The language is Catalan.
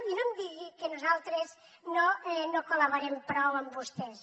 i no em digui que nosaltres no col·laborem prou amb vostès